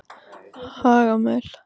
Hagamel